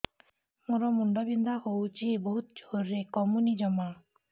ମୋର ମୁଣ୍ଡ ବିନ୍ଧା ହଉଛି ବହୁତ ଜୋରରେ କମୁନି ଜମା